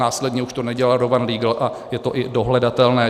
Následně už to nedělal Rowan Legal a je to i dohledatelné.